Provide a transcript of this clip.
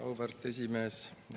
Auväärt esimees!